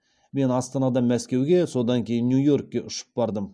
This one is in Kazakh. мен астанадан мәскеуге содан кейін нью йоркке ұшып бардым